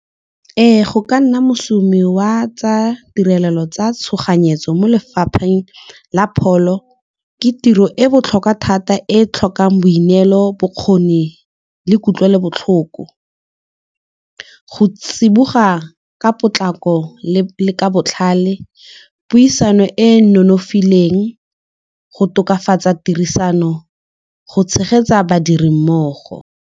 Ee, go ka nna moshomi wa tsa tirelo tsa tshoganyetso mo lefapheng la pholo ke tiro e botlhokwa thata e tlhokang boineelo bokgoni le kutlwelobotlhoko. Go tsiboga ka potlako le ka botlhale puisano e e nonofileng go tokafatsa tirisano go tshegetsa badiri mmogo.